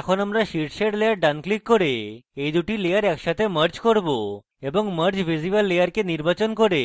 এখন আমরা শীর্ষের layer ডান click করে এই দুটি layer একসাথে merge করব এবং merge visible layer কে নির্বাচন করে